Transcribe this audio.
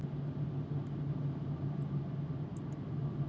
Frænka lyfti Dreng upp á króarvegginn svo hann gæti séð blessuð litlu lömbin.